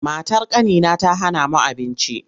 Matar ƙanina ta hana mu abinci.